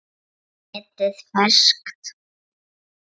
Nýmetið ferskt.